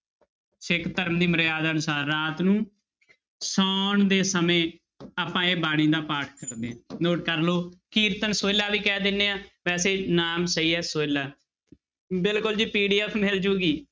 ਸਿੱਖ ਧਰਮ ਦੀ ਮਰਿਆਦਾ ਅਨੁਸਾਰ ਰਾਤ ਨੂੰ ਸੌਣ ਦੇ ਸਮੇਂ ਆਪਾਂ ਇਹ ਬਾਣੀ ਦਾ ਪਾਠ ਕਰਦੇ ਹਾਂ note ਕਰ ਲਓ ਕੀਰਤਨ ਸੋਹਿਲਾ ਵੀ ਕਹਿ ਦਿੰਦੇ ਹਾਂ ਵੈਸੇ ਨਾਮ ਸਹੀ ਹੈ ਸੋਹਿਲਾ ਬਿਲਕੁਲ ਜੀ PDF ਮਿਲ ਜਾਏਗੀ।